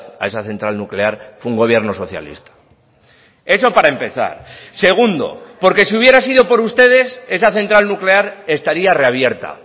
a esa central nuclear fue un gobierno socialista eso para empezar segundo porque si hubiera sido por ustedes esa central nuclear estaría reabierta